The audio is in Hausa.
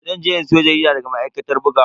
Zan je in siyo jarida daga ma'aikatar bugawa.